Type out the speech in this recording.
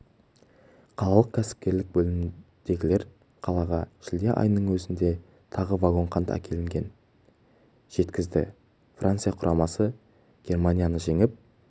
қалалық кәсіпкерлік бөліміндегілер қалаға шілде айының өзінде тағы вагон қант әкелінгенін жеткізді франция құрамасы германияны жеңіп